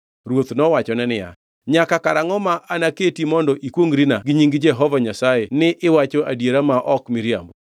Ruoth nowachone niya, “Nyaka karangʼo ma anaketi mondo ikwongʼrina gi nying Jehova Nyasaye ni iwacho adiera ma ok miriambo?”